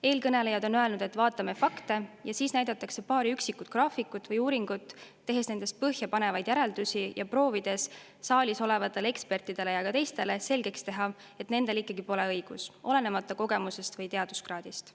Eelkõnelejad on öelnud, et vaatame fakte, ja siis on näidatud paari üksikut graafikut või uuringut, tehes nendest põhjapanevaid järeldusi ja proovides saalis olevatele ekspertidele ja ka teistele selgeks teha, et nendel ikkagi pole õigus, olenemata kogemusest või teaduskraadist.